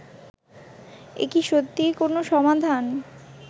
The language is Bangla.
এ কি সত্যিই কোনও সমাধান